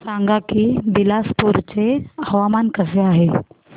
सांगा की बिलासपुर चे हवामान कसे आहे